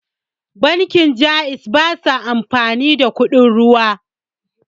Bankin Ja'iz basa amfani da kuɗin ruwa